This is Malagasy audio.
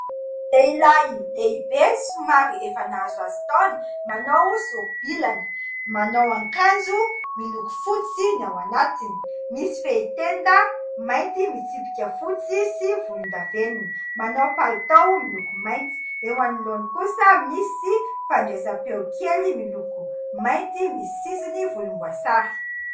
Lehilahy lehibe somary efa nahazohazo taona manao sori-bilana, manao akanjo miloko fotsy ny ao anatiny, misy fehitenda mainty misy tsipika fotsy sy volondavenona, manao palitao miloko mainty, eo amin'ny lohany kosa misy fandraisam-peo kely miloko mainty misy sisiny volomboasary.